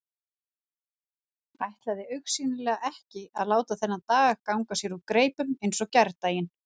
Ætlaði augsýnilega ekki að láta þennan dag ganga sér úr greipum eins og gærdaginn.